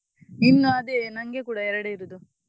ಇನ್ನು ಅದೇ ನಂಗೆ ಕೂಡ ಎರಡೇ ಇರುದು.